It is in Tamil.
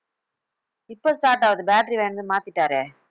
இப்ப start ஆகுது battery வாங்கிட்டு வந்து மாத்திட்டாரே